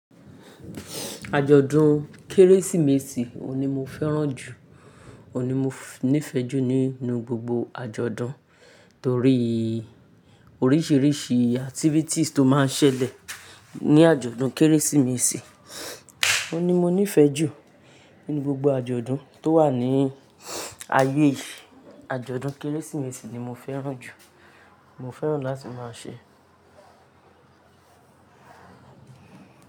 Ajọdun kérésìmesì ọ ni mo fẹràn jù, ọ ni mo nífẹjù nínú gbogbo àjọ̀dún torí oríṣìíríṣìí activities tó máa n sẹlè ní àjọ̀dún kérésìmesì. Ọ ni mo nífẹjù nínú gbogbo àjọ̀dún tó wà ní ayé yìí. Ajọdun kérésìmesì ni mo fẹràn jù, mo fẹràn lati ma ṣe.